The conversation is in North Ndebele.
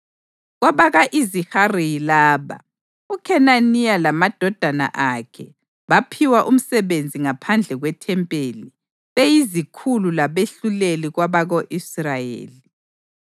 Kwabaka-Izihari yilaba: UKhenaniya lamadodana akhe baphiwa umsebenzi ngaphandle kwethempeli, beyizikhulu labehluleli kwabako-Israyeli.